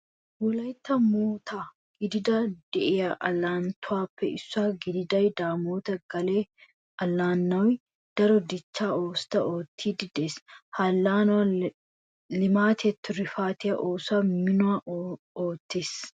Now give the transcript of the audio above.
Wolaytta moottaa giddon de'iya allaanatuppe issuwa gidida daamoot gaale allaanay daro dichchaa oosota oottiiddi de'ees. Ha allaanan leemaatiya tirufaatiya oosoy minuwan oosettees.